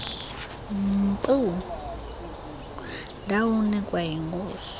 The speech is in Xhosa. mpu ndawunikwa yinkosi